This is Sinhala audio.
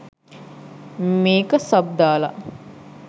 මේක සබ් දාල